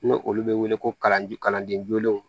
N'o olu bɛ wele ko kalandenjugulenw